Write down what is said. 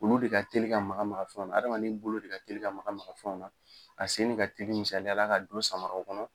Olu de ka teli ka maga maga fɛnw na hadamaden de ka teli bolo maga maga fɛnw na a sen de ka teli misalaya la ka jo sama a kɔnɔ.